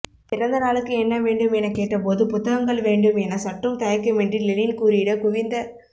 பிறந்த நாளுக்கு என்ன வேண்டும் என கேட்டபோது புத்தகங்கள் வேண்டும் என சற்றும் தயக்கமின்றி லெனின் கூறிட குவிந்த